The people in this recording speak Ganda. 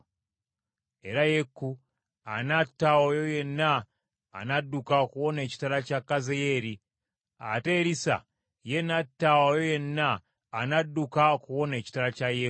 Era Yeeku anatta oyo yenna anadduka okuwona ekitala kya Kazayeeri, ate Erisa ye n’atta oyo yenna anadduka okuwona ekitala kya Yeeku.